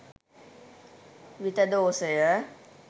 විතදෝසය